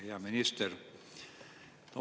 Hea minister!